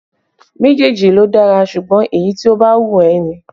Méjèèjì ló dára, ṣùgbọ́n èyí tí ó bá wù ẹ́ ni